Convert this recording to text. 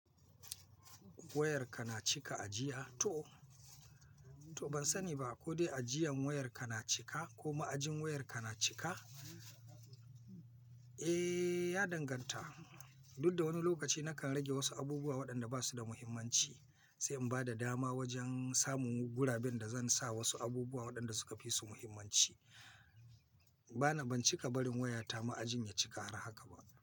Wayarka na cika a jiya? To, to ban sani ba ko dai ajiyan wayarka na cika ko ma'ajin wayarka na cika? Eh ya danganta duk da wani lokaci nakan rage wasu abubuwa waɗanda ba su da muhimmanci, sai in bada dama wajen samun guraren da zan sa wasu abubuwa waɗanda suka fi su muhimmanci. Bana, ban cika barin wayata ma'ajin ya cika har haka ba.